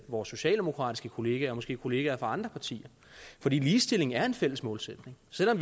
vores socialdemokratiske kollegaer og måske kollegaer fra andre partier fordi ligestilling er en fælles målsætning selv om